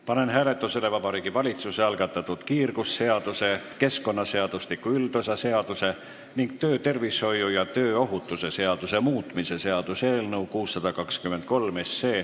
Panen hääletusele Vabariigi Valitsuse algatatud kiirgusseaduse, keskkonnaseadustiku üldosa seaduse ning töötervishoiu ja tööohutuse seaduse muutmise seaduse eelnõu 623.